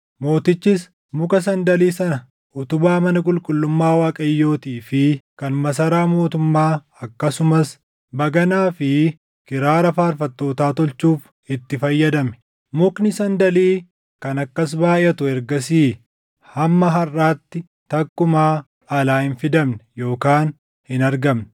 Mootichis muka sandalii sana utubaa mana qulqullummaa Waaqayyootii fi kan masaraa mootummaa akkasumas baganaa fi kiraara faarfattootaa tolchuuf itti fayyadame. Mukni sandalii kan akkas baayʼatu ergasii hamma harʼaatti takkumaa alaa hin fidamne yookaan hin argamne.